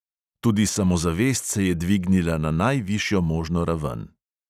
Tudi samozavest se je dvignila na najvišjo možno raven.